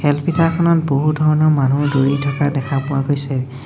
খেল পিথাৰখনত বহু ধৰণৰ মানুহ দৌৰি থকা দেখা পোৱা গৈছে।